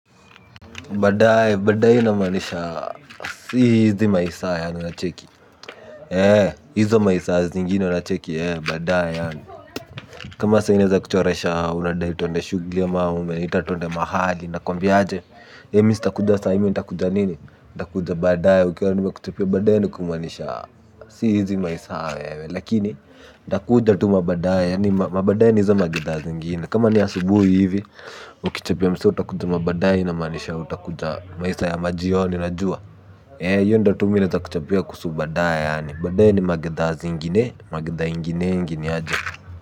Badae, badae inamanisha, si hizi maisa ya, unacheki. He, hizo maisa zingine unacheki, he, badae ya kama sai neza kuchoresha, unada twende shugli ama ume, itatonde mahali, nakuambiaje. He, Mr. Kuja sai mi ntakuja nini. Takuja badae, ukewari nime kuchapia badae niku manisha. Si hizi maisa ya, lakini takuja tu mabadae, ya, mabadae nizo magiza zingine. Kama ni asubuhi hivi, ukichapia msa, utakutu mabadae inamanisha utakuja maisa ya majioni unajua ee iyo ndo tu mine za kuchapia kusubadaya badaya ni magidha zingine magidha ingine ingine aje.